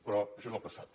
però això és el passat